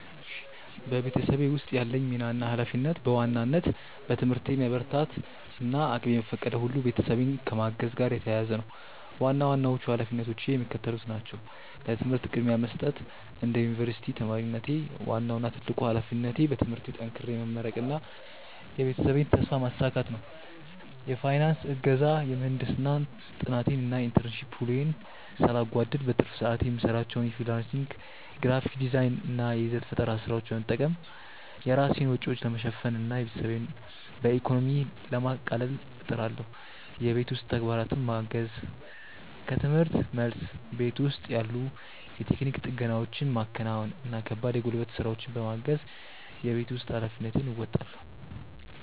በቤተሰቤ ውስጥ ያለኝ ሚና እና ኃላፊነት በዋናነት በትምህርቴ መበርታት እና እቅሜ በፈቀደው ሁሉ ቤተሰቤን ከማገዝ ጋር የተያያዘ ነው። ዋና ዋናዎቹ ኃላፊነቶቼ የሚከተሉት ናቸው፦ ለትምህርት ቅድሚያ መስጠት፦ እንደ ዩኒቨርሲቲ ተማሪነቴ፣ ዋናው እና ትልቁ ኃላፊነቴ በትምህርቴ ጠንክሬ መመረቅና የቤተሰቤን ተስፋ ማሳካት ነው። የፋይናንስ እገዛ፦ የምህንድስና ጥናቴን እና የኢንተርንሺፕ ውሎዬን ሳላጓድል፣ በትርፍ ሰዓቴ የምሰራቸውን የፍሪላንስ ግራፊክ ዲዛይን እና የይዘት ፈጠራ ስራዎች በመጠቀም የራሴን ወጪዎች ለመሸፈን እና ቤተሰቤን በኢኮኖሚ ለማቃለል እጥራለሁ። የቤት ውስጥ ተግባራትን ማገዝ፦ ከርምህርት መልስ፣ ቤት ውስጥ ያሉ የቴክኒክ ጥገናዎችን ማከናወን እና ከባድ የጉልበት ስራዎችን በማገዝ የቤት ውስጥ ኃላፊነቴን እወጣለሁ።